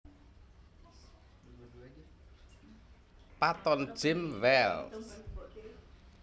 Patton James Welch